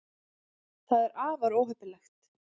það er afar óheppilegt